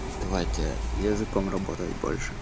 давайте языком работать больше